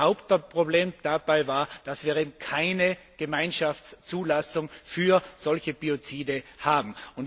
Ein Hauptproblem dabei war, dass wir keine Gemeinschaftszulassung für solche Biozide haben.